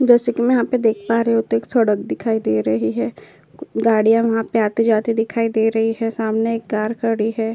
जैसेकि मैं यहाँ पे देख पा रही हूँ तो एक सड़क दिखाई दे रही है। गाड़ियाँ वहाँ पे आते-जाते दिखाई दे रही है। सामने एक कार खड़ी है।